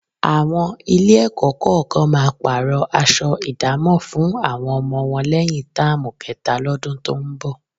Àwọn Ilé-ẹ̀kọ́ kọ̀ọ̀kan máa pààrọ̀ aṣọ ìdámọ̀ fún àwọn ọmọ wọn lẹ́yìn táàmù kẹta lọ́dún tó ń bọ̀